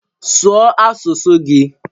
Sụọ asụsụ gị!